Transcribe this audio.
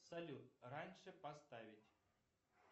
салют раньше поставить